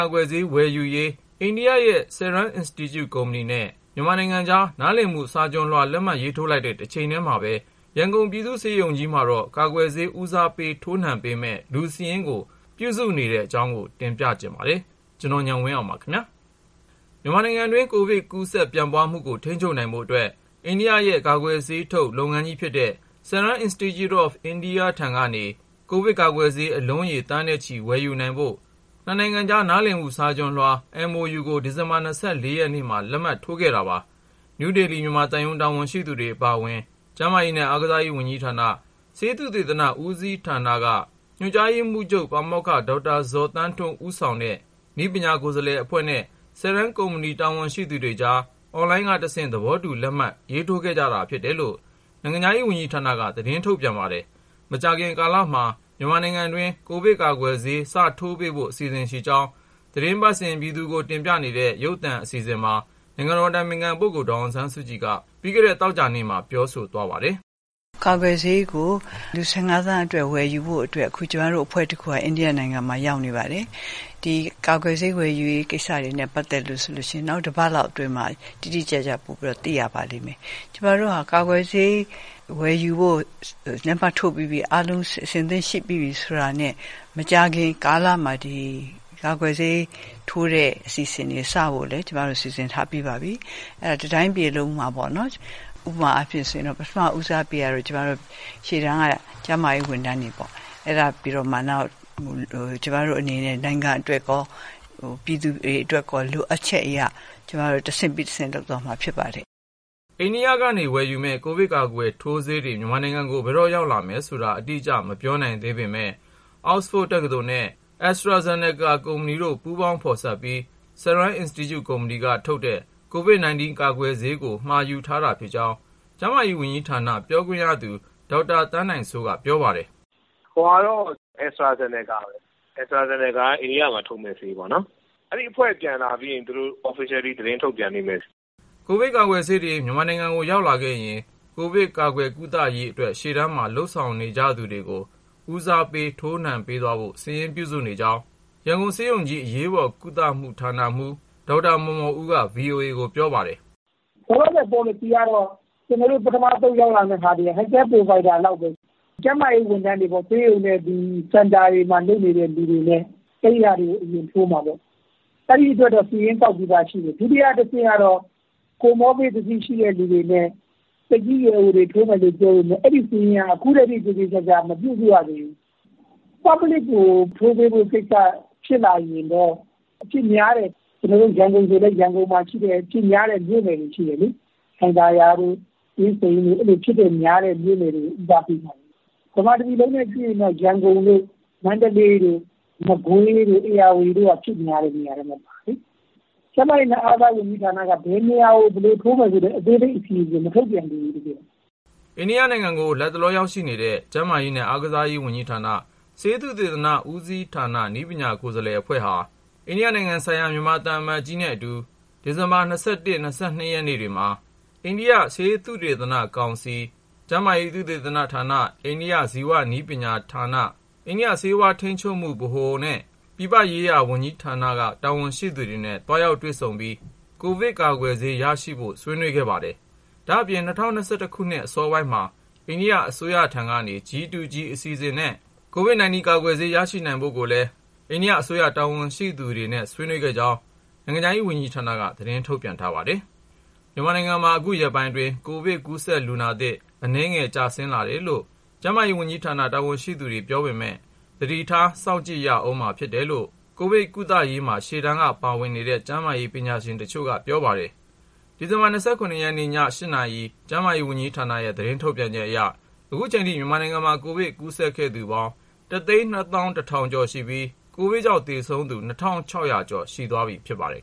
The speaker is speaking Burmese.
ာကွယ်ဆေးဝယ်ယူရေး အိန္ဒိယရဲ့ Serum Institute ကုမ္ပဏီနဲ့ မြန်မာကြား နားလည်မှုစာချွန်လွှာ လက်မှတ်ရေးထိုးလိုက်တဲ့ တချိန်တည်းမှာပဲ ရန်ကုန်ပြည်သူ့ဆေးရုံကြီးမှာတော့ ကာကွယ်ဆေး ဦးစားပေးထိုးနှံပေးမယ့် လူစာရင်းကို ပြုစုနေကြပါပြီ။ အပြည့်အစုံကို ကိုဉာဏ်ဝင်းအောင် စုစည်းတင်ပြထားပါတယ်။ မြန်မာနိုင်ငံအတွင်း ကိုဗစ်ကူးစက်ပြန့်ပွားမှုကို ထိန်းချုပ်နိုင်ဖို့အတွက် အိန္ဒိယရဲ့ ကာကွယ်ဆေးထုတ် လုပ်ငန်းကြီးဖြစ်တဲ့ Serum Institute of India ထံကနေ ကိုဗစ်ကာကွယ်ဆေး အလုံးရေ သန်းနဲ့ချီ ဝယ်ယူနိုင်ဖို့ နှစ်နိုင်ငံကြား နားလည်မှုစာချွန်လွှာ MoU ကို ဒီဇင်ဘာ ၂၄ ရက်နေ့မှာ လက်မှတ်ရေးထိုးခဲ့တာပါ။ နယူးဒေလီ မြန်မာသံရုံး တာဝန်ရှိသူတွေ အပါအဝင် ကျန်းမာရေးနဲ့ အားကစားဝန်ကြီးဌာန ဆေးသုတေသန ဦးစီးဌာနမှ ညွှန်ကြားရေးမှူးချုပ် ပါမောက္ခ ဒေါက်တာဇော်သန်းထွန်း ဦးဆောင်တဲ့ နည်းပညာကိုယ်စားလှယ်အဖွဲ့နဲ့ Serum ကုမ္ပဏီ တာဝန်ရှိသူတွေကြား အွန်လိုင်းကတဆင့် သဘောတူ လက်မှတ်ထိုးခဲ့ကြတာ ဖြစ်တယ်လို့ နိုင်ငံခြားရေးဝန်ကြီးဌာနက သတင်းထုတ်ပြန်ပါတယ်။ မကြာခင်ကာလမှာ မြန်မာနိုင်ငံတွင်း ကိုဗစ်ကာကွယ်ဆေး စထိုးပေးဖို့ အစီအစဉ်ရှိကြောင်း သီတင်းပတ်စဉ် ပြည်သူကို တင်ပြနေတဲ့ ရုပ်သံအစီအစဉ်မှာ နိုင်ငံတော်အတိုင်ပင်ခံပုဂ္ဂိုလ် ဒေါ်အောင်ဆန်းစုကြည်က ပြီးခဲ့တဲ့သီတင်းပတ် သောကြာနေ့မှာ ပြောဆိုသွားပါတယ်။ “ကာကွယ်ဆေးကို လူ ၁၅ သန်းစာ ဝယ်ယူဖို့အတွက် အခု ကျမတို့ ကိုယ်စားလှယ်အဖွဲ့တခုက အိန္ဒိယနိုင်ငံမှာ ရောက်နေပါတယ်။ ဒီကာကွယ်ဆေး ဝယ်ယူတဲ့ကိစ္စနဲ့ ပတ်သက်ရင် နောက်တပတ်လောက်အတွင်းမှာ တိတိကျကျ ပိုပြီး သိရပါလိမ့်မယ်။ ကာကွယ်ဆေးဝယ်ယူဖို့ လက်မှတ်ထိုးပြီးပြီ၊ အားလုံး အဆင်သင့်ဖြစ်ပြီ ဆိုတာနဲ့ မကြာခင်ကာလမှာ ကာကွယ်ဆေးထိုးဖို့ အစီအစဉ်တွေ စဖို့ကိုလည်း ကျမတို့ စီစဉ်ထားပြီးပါပြီ။ တတိုင်းပြည်လုံးမှာပေါ့နော်... ဥပမာအားဖြင့်ဆိုရင် ပထမဦးစားပေးကတော့ ရှေ့တန်းက ကျန်းမာရေးဝန်ထမ်းတွေပေါ့။ အဲဒါပြီးတော့မှ နောက် ကျမတို့အနေနဲ့ နိုင်ငံအတွက်ကော ပြည်သူတွေအတွက်ကော လိုအပ်ချက်အရ ကျမတို့ တဆင့်ပြီးတဆင့် လုပ်သွားမှာဖြစ်ပါတယ်။” အိန္ဒိယကနေ ဝယ်ယူမယ့် ကိုဗစ်ကာကွယ်ထိုးဆေးတွေ မြန်မာနိုင်ငံကို ဘယ်တော့ရောက်လာမယ်ဆိုတာ အတိအကျ မပြောနိုင်သေးပေမယ့် အောက်စဖို့ဒ်တက္ကသိုလ်နဲ့ AstraZeneca ကုမ္ပဏီတို့ ပူးပေါင်းဖော်စပ်ပြီး Serum Institute ကုမ္ပဏီကထုတ်တဲ့ COVID-19 ကာကွယ်ဆေးကို မှာယူထားတာဖြစ်ကြောင်း ကျန်းမာရေးဝန်ကြီးဌာန ပြောခွင့်ရသူ ဒေါက်တာ သန်းနိုင်စိုးက ပြောပါတယ်။ “မှာထားတာကတော့ AstraZeneca ပဲ၊ AstraZeneca က အိန္ဒိယမှာထုတ်မယ့် ဆေးပေါ့လေ။ အဲဒီ ကိုယ်စားလှယ်အဖွဲ့ ပြန်လာပြီးရင် သူတို့ တရားဝင် သတင်းထုတ်ပြန်ပါလိမ့်မယ်။” ကိုဗစ်ကာကွယ်ဆေးတွေ မြန်မာနိုင်ငံကို ရောက်လာခဲ့ရင် ကိုဗစ်ကာကွယ်ကုသရေးအတွက် ရှေ့တန်းမှာ လုပ်ဆောင်နေကြသူတွေကို ဦးစားပေး ထိုးနှံပေးသွားဖို့ စာရင်းပြုစုနေကြောင်း ရန်ကုန်ဆေးရုံကြီး အရေးပေါ်ကုသမှု ဌာနမှူး ဒေါက်တာ မော်မော်ဦးက ဗွီအိုအေကို ပြောပါတယ်။ “ဆေးရောက်လာရင် ထိုးရမယ့် ပေါ်လစီကတော့ ပထမဆုံးရောက်လာမယ့် ဆေးကို Healthcare provider လောက်ပဲ။ ဆေးရုံနဲ့ ကိုဗစ်စင်တာတွေမှာ လုပ်နေတဲ့ ကျန်းမာရေးဝန်ထမ်းတွေနဲ့ စေတနာ့ဝန်ထမ်းတွေပေါ့၊ သူတို့တွေကို အရင်ထိုးမှာပေါ့။ အဲဒီအတွက် ကျနော်တို့ စာရင်းကောက်ထားပြီးသား ရှိတယ်။ ဒုတိယအဆင့်က ကူးစက်ရောဂါအခံ ရှိသူတွေနဲ့ သက်ကြီးပိုင်းကို ထိုးပေးမယ် ပြောပေမယ့် အဲဒီစာရင်းကိုတော့ အသေအချာ မပြုစုရသေးဘူး။ ပြည်သူလူထုကို ထိုးပေးဖို့အဆင့် ဖြစ်လာမယ် ဆိုရင်တော့ ကိုဗစ်အဖြစ်များတဲ့ ရန်ကုန်လိုမှာ ဆိုရင်လည်း အဖြစ်များတဲ့ မြို့နယ်တွေရှိတယ်လေ။ ဥပမာ လှိုင်သာယာတို့ အင်းစိန်တို့လို အဖြစ်များတဲ့ မြို့နယ်တွေကို ဦးစားပေးမှာပေါ့။ မြန်မာတပြည်လုံး အနေနဲ့ ကြည့်ရင်တော့ ရန်ကုန်တို့ မန္တလေးတို့ မကွေးတို့ ဧရာဝတီတိုင်းတို့က အဖြစ်များတဲ့ နေရာထဲမှာ ပါတယ်လေ။ ကျန်းမာရေးနဲ့ အားကစားဝန်ကြီးဌာနကတော့ ဘယ်နေရာကို ဘယ်လိုထိုးမယ်ဆိုတဲ့ အသေးစိတ် အစီအစဉ်ကို မထုတ်ပြန်သေးဘူး အခုထိ။” အိန္ဒိယနိုင်ငံကို လတ်တလော ရောက်ရှိနေတဲ့ ကျန်းမာရေးနဲ့ အားကစားဝန်ကြီးဌာန၊ ဆေးသုတေသန ဦးစီးဌာန နည်းပညာကိုယ်စားလှယ်အဖွဲ့ဟာ အိန္ဒိယနိုင်ငံဆိုင်ရာ မြန်မာသံအမတ်ကြီး ဦးမိုးကျော်အောင်နဲ့အတူ ဒီဇင်ဘာလ ၂၁ ရက်နဲ့ ၂၂ ရက်နေ့တွေမှာ အိန္ဒိယ ဆေးသုတေသနကောင်စီ (ICMR)၊ ကျန်းမာရေးနဲ့ လူမှုဖူလုံရေးဝန်ကြီးဌာန၊ ကျန်းမာရေးသုတေသနဌာန၊ အိန္ဒိယ ဇီဝနည်းပညာဌာန၊ National Institution for Transforming India (NITI Ayog)၊ အိန္ဒိယ ဆေးဝါးထိန်းချုပ်မှုဗဟို (DCGI) နဲ့ အိန္ဒိယ ပြည်ပရေးရာဝန်ကြီးဌာန တာဝန်ရှိသူတွေကို သွားရောက်တွေ့ဆုံပြီး ကိုဗစ်ကာကွယ်ဆေး ရရှိနိုင်ဖို့အတွက် ဆွေးနွေးခဲ့ကြပါတယ်။ ဒါ့အပြင် ၂၀၂၁ ခုနှစ် အစောပိုင်းမှာ အိန္ဒိယအစိုးရထံကနေ G-to-G အစီအစဉ်နဲ့ COVID-19 ကာကွယ်ဆေး ရရှိနိုင်ဖို့ကိုလည်း အိန္ဒိယအစိုးရ တာဝန်ရှိသူတွေနဲ့ ဆွေးနွေးခဲ့ကြောင်း နိုင်ငံခြားရေးဝန်ကြီးဌာနက သတင်းထုတ်ပြန်ထားပါတယ်။ မြန်မာနိုင်ငံမှာ အခုရက်ပိုင်းအတွင်း ကိုဗစ်ကူးစက်လူနာသစ် အရေအတွက် အနည်းငယ် ကျဆင်းလာတယ်လို့ ကျန်းမာရေးဝန်ကြီးဌာန တာဝန်ရှိသူတွေက ပြောပေမယ့် သတိထား စောင့်ကြည့်ရဦးမှာ ဖြစ်တယ်လို့ ကိုဗစ်ရောဂါကုသရေး ရှေ့တန်းက ဆောင်ရွက်နေတဲ့ ကျန်းမာရေးပညာရှင်နဲ့ ဝန်ထမ်းတချို့က ပြောဆိုထားပါတယ်။ ဒီဇင်ဘာ ၂၇ ရက်နေ့ ည ၈ နာရီ ကျန်းမာရေးဝန်ကြီးဌာနရဲ့ သတင်းထုတ်ပြန်ချက်အရ အခုချိန်ထိ မြန်မာနိုင်ငံမှာ ကိုဗစ်ကူးစက်ခဲ့သူပေါင်း ၁၂၁,၈၈၆ ဦးရှိပြီး ကိုဗစ်ကြောင့် သေဆုံးခဲ့သူ ၂,၆၀၀ ကျော် ရှိသွားပြီဖြစ်ပါတယ်